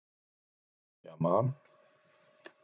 Og Júlía man.